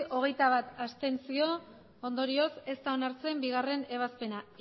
abstentzioak hogeita bat ondorioz ez da onartzen bigarrena ebazpena